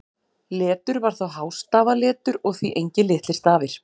Letur var þá hástafaletur og því engir litlir stafir.